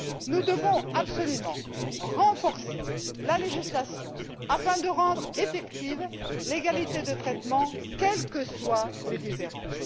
Nous devons absolument renforcer la législation afin de rendre effective l'égalité de traitement, quelles que soient les différences.